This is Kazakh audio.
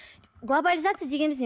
глобализация дегеніміз не